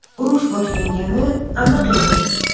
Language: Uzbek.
Urush boshlangani aniq edi.